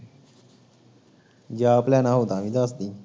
ਜੇ ਆਪ ਲੈਣਾ ਹੋਊ ਤਾਂ ਵੀ ਦੱਸ ਦੇਈ